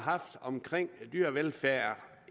har haft omkring dyrevelfærd